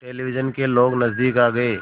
television के लोग नज़दीक आ गए